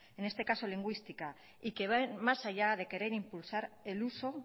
en este caso lingüística y que va a ir más allá de querer impulsar el uso